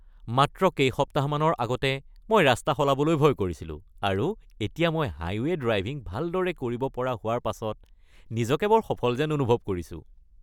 মাত্ৰ কেইসপ্তাহমানৰ আগতে মই ৰাস্তা সলাবলৈ ভয় কৰিছিলোঁ আৰু এতিয়া মই হাইৱে’ ড্ৰাইভিঙ ভালদৰে কৰিব পৰাৰ হোৱাৰ পাছত নিজকে বৰ সফল যেন অনুভৱ কৰিছোঁ!